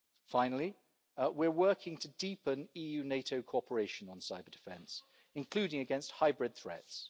Finally, we are working to deepen EU-NATO cooperation on cyber-defence, including against hybrid threats.